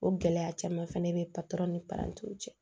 O gɛlɛya caman fɛnɛ bɛ ni parantiw cɛ